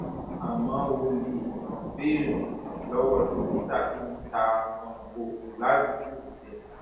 àmọ o lè um béèrè um lọwọ dókítà tó ń ta um oògùn ládùúgbò rẹ